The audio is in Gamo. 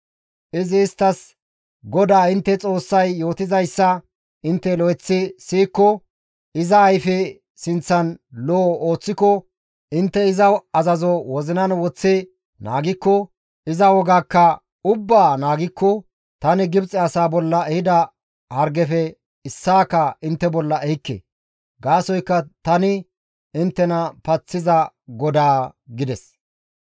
Izi isttas, «GODAA intte Xoossay yootizayssa intte lo7eththi siyikko, iza ayfe sinththan lo7o ooththiko, intte iza azazo wozinan woththi naagikko, iza wogaakka ubbaa naagikko, tani Gibxe asaa bolla ehida hargefe issaaka intte bolla ehikke; gaasoykka tani inttena paththiza GODAA» gides.